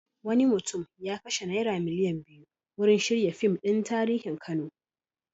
Wani mutum ya kashe naira miliyan biyu wurin shirya fim ɗin tarihin Kano.